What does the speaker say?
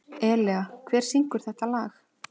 Elea, hver syngur þetta lag?